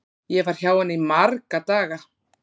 Ég var hjá henni í marga daga.